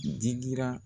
Digira